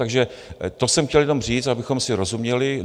Takže to jsem chtěl jenom říct, abychom si rozuměli.